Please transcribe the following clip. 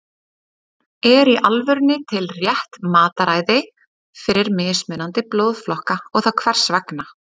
er í alvörunni til rétt mataræði fyrir mismunandi blóðflokka og þá hvers vegna